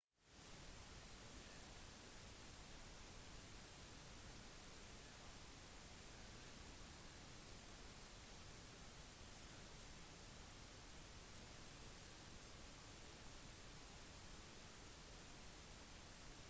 olje er en viktig industri for venezuelanere der landet er en nettoeksportør selv om kun 1 % arbeider i oljeindustrien